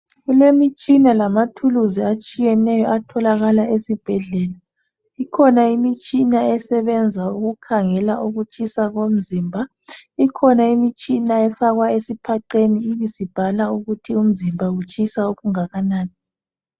Kulemitshina lamathuluzi atshiyeneyo atholakala esibhedlela. Ikhona imitshina esebenza ukukhangela ukutshisa komzimba, ikhona imitshina efakwa esiphaqeni ibisibhala ukuthi umzimba utshisa okungakanani.